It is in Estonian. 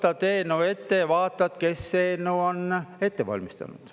Sa võtad eelnõu ette ja vaatad, kes eelnõu on ette valmistanud.